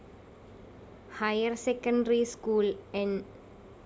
വ higher secondary school ന്‌